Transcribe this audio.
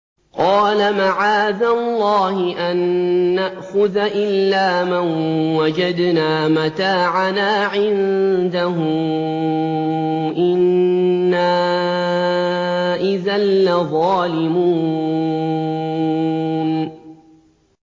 قَالَ مَعَاذَ اللَّهِ أَن نَّأْخُذَ إِلَّا مَن وَجَدْنَا مَتَاعَنَا عِندَهُ إِنَّا إِذًا لَّظَالِمُونَ